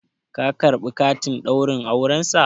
ka karɓi katin Ɗaurin aurensa?